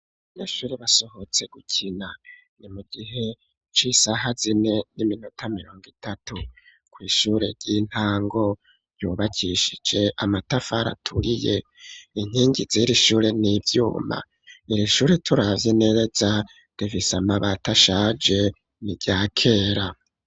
Abanyeshuri basohotse gukina, ni mu gihe c'isaha zine n'iminota mirongo itatu ,kw'ishure ry'intango ryubakishije amatafari aturiye, inkingi zir'ishure n'ivyuma ,iri shure turavya neza rifis'amabati ashaje ni rya kera.